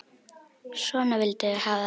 Svona vildum við hafa það.